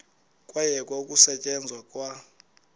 kwayekwa ukusetyenzwa kwa